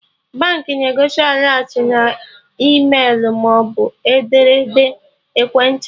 Baankị na-egosi alertị na e-mailu maọbụ n'ederede ekwentị